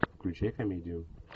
включай комедию